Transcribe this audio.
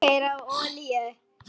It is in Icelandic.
Keyra á olíu?